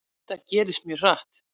Þetta gerðist mjög hratt.